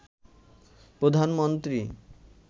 প্রধানমন্ত্রী